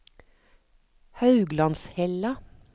Hauglandshella